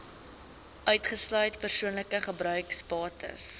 uitgesluit persoonlike gebruiksbates